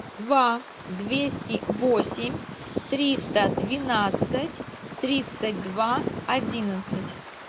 два двести восемь триста двенадцать тридцать два одиннадцать